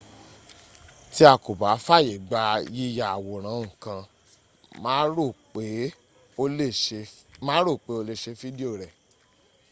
tí a kò bá fàyègba yíya àwòrán ǹkan má rò pé o lé ṣe fídíò rẹ̀